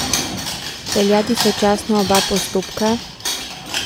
Peljati sočasno oba postopka?